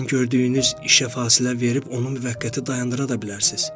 Bəzən gördüyünüz işə fasilə verib onu müvəqqəti dayandıra da bilərsiniz.